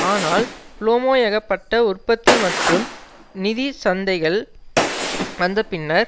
ஆனால் பூமோயகப்பட்ட உற்பத்தி மற்றும் நிதி சந்தைகள் வந்த பின்னர்